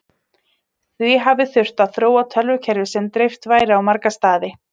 Því hafi þurft að þróa tölvukerfi sem dreift væri á marga staði.